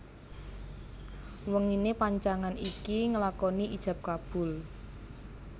Wenginé pacangan iki nglakoni ijab kabul